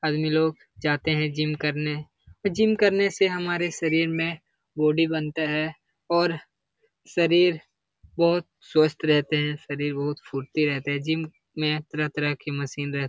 आदमी लोग जाते है जिम करने। जिम करने से हमारे शरीर में बॉडी बनता है और शरीर बोहोत स्वस्थ रहते है शरीर बहुत फुर्ती रहते है। जिम में तरह-तरह के मशीन रह --